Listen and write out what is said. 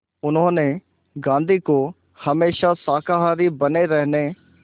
उन्होंने गांधी को हमेशा शाकाहारी बने रहने